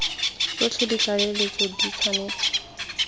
tsotlhe le ditlaleletso di tshwanetse